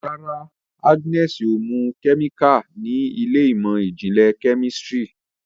Ràrá Agnes mú kemikali ní Ilé ìmọ̀n-jinlẹ Kẹ́mísìrì.